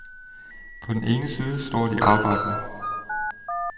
På den ene side står de arbejdende.